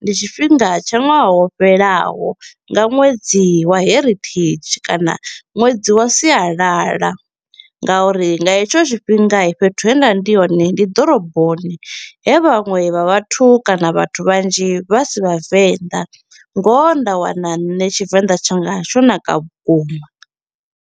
ndi tshifhinga tsha ṅwaha wo fhelaho nga ṅwedzi wa heritage kana ṅwedzi wa sialala, nga uri nga hetsho tshifhinga fhethu he nda vha ndi hone ndi ḓoroboni he vhaṅwe vha vhathu kana vhathu vhanzhi vha si vhavenḓa, ngoho nda wana nṋe Tshivenḓa tshanga tsho naka vhukuma.